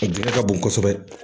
A dingɛ ka bon kosɛbɛ